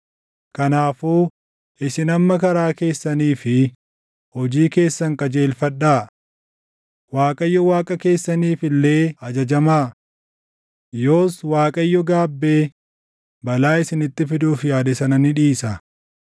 Kanaafuu isin amma karaa keessanii fi hojii keessan qajeelfadhaa; Waaqayyo Waaqa keessaniif illee ajajamaa. Yoos Waaqayyo gaabbee balaa isinitti fiduuf yaade sana ni dhiisa.